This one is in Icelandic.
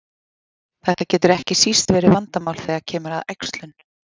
Þetta getur ekki síst verið vandamál þegar kemur að æxlun.